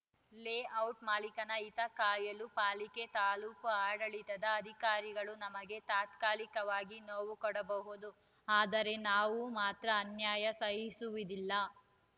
layout ಮಾಲೀಕನ ಹಿತ ಕಾಯಲು ಪಾಲಿಕೆ ತಾಲೂಕು ಆಡಳಿತದ ಅಧಿಕಾರಿಗಳು ನಮಗೆ ತಾತ್ಕಾಲಿಕವಾಗಿ ನೋವು ಕೊಡಬಹುದು ಆದರೆ ನಾವು ಮಾತ್ರ ಅನ್ಯಾಯ ಸಹಿಸುವುದಿಲ್ಲ